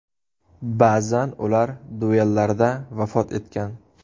Ba’zan ular duellarda vafot etgan.